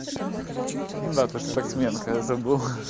да ты спортсменка я забыл хи-хи